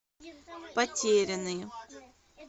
потерянные